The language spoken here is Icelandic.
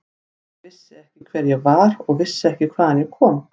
Ég vissi ekki hver ég var og vissi ekki hvaðan ég kom.